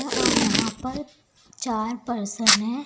और यहां पर चार पर्सन हैं।